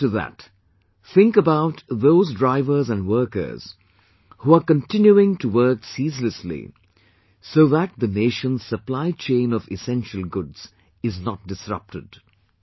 Similar to that, think about those drivers and workers, who are continuing to work ceaselessly, so that the nation's supply chain of essential goods is not disrupted